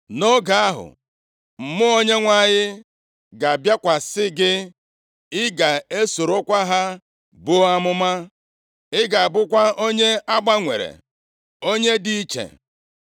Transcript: Nʼoge ahụ, mmụọ Onyenwe anyị ga-abịakwasị gị, ị ga-esorokwa ha buo amụma. Ị ga-abụkwa onye a gbanwere, onye dị iche.